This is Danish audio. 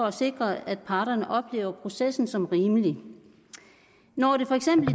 at sikre at parterne oplever processen som rimelig når det for eksempel